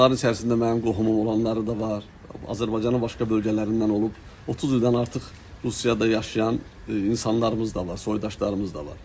Bunların içərisində mənim qohumum olanları da var, Azərbaycanın başqa bölgələrindən olub 30 ildən artıq Rusiyada yaşayan insanlarımız da var, soydaşlarımız da var.